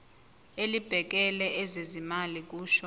elibhekele ezezimali kusho